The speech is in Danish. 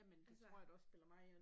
Jamen det tror jeg da også spiller mig ind